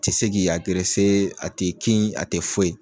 tɛ se k'i a t'i kin a tɛ foyi.